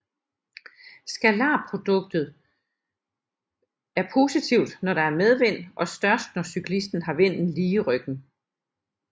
Scalarproduktet er positivt når der er medvind og størst når cyklisten har vinden lige i ryggen